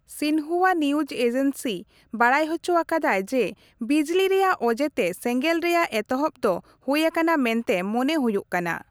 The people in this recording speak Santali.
ᱥᱤᱱᱦᱩᱣᱟ ᱱᱤᱭᱩᱡᱽ ᱮᱡᱮᱱᱥᱤ ᱵᱟᱰᱟᱭ ᱦᱚᱪᱚ ᱟᱠᱟᱫᱟᱭ, ᱡᱮ ᱵᱤᱡᱽᱞᱤ ᱨᱮᱭᱟᱜ ᱚᱡᱮ ᱛᱮ ᱥᱮᱜᱮᱸᱞ ᱨᱮᱭᱟᱜ ᱮᱛᱚᱦᱚᱵ ᱫᱚ ᱦᱳᱭ ᱟᱠᱟᱱᱟ ᱢᱮᱱᱛᱮ ᱢᱚᱱᱮ ᱦᱳᱭᱳᱜ ᱠᱟᱱᱟ ᱾